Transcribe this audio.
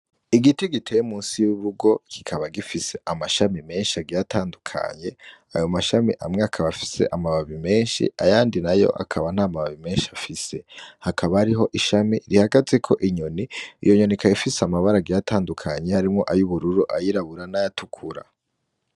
Igiti giteye musi y'ubugo kikaba gifise amashami menshi agiyatandukanye ayo mashami amwe akaba afise amababi menshi ayandi na yo akaba nta mababi menshi afise hakaba ariho ishami rihagaze ko inyoni iyo nyonika yafise amabara giyatandukanye harimwo ayo ubururu ayirabura n'ayatukura.